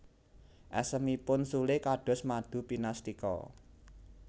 Esemipun Sule kados madu pinastika